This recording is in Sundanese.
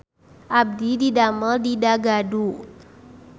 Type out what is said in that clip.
Abdi didamel di Dagadu